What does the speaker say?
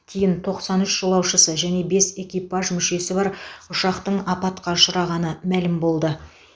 кейін тоқсан үш жолаушысы және бес экипаж мүшесі бар ұшақтың апатқа ұшырағаны мәлім болды